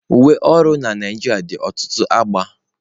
Uwe ọrụ na Naịjirịa dị ọtụtụ agba.